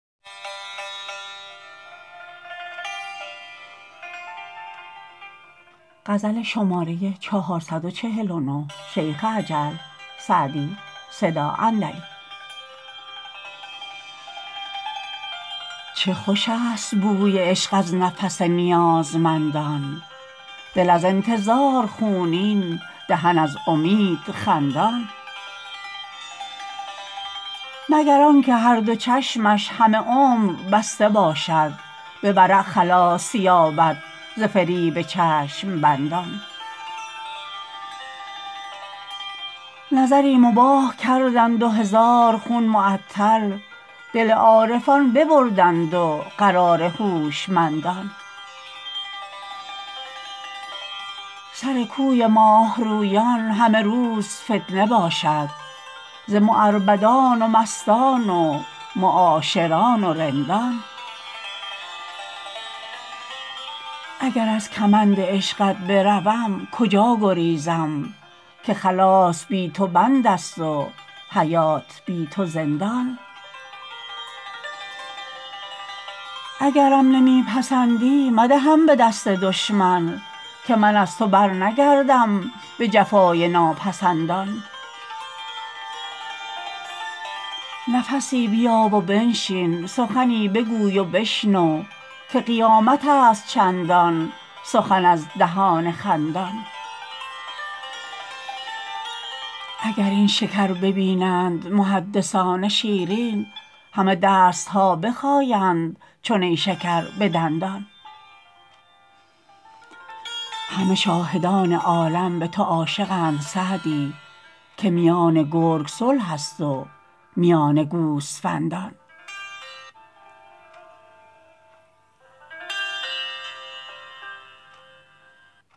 چه خوش است بوی عشق از نفس نیازمندان دل از انتظار خونین دهن از امید خندان مگر آن که هر دو چشمش همه عمر بسته باشد به ورع خلاص یابد ز فریب چشم بندان نظری مباح کردند و هزار خون معطل دل عارفان ببردند و قرار هوشمندان سر کوی ماه رویان همه روز فتنه باشد ز معربدان و مستان و معاشران و رندان اگر از کمند عشقت بروم کجا گریزم که خلاص بی تو بند است و حیات بی تو زندان اگرم نمی پسندی مدهم به دست دشمن که من از تو برنگردم به جفای ناپسندان نفسی بیا و بنشین سخنی بگوی و بشنو که قیامت است چندان سخن از دهان خندان اگر این شکر ببینند محدثان شیرین همه دست ها بخایند چو نیشکر به دندان همه شاهدان عالم به تو عاشقند سعدی که میان گرگ صلح است و میان گوسفندان